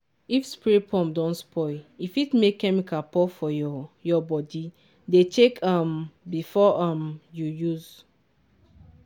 if spray pump don spoil e fit make chemical pour for your your body—dey check um am before um you use.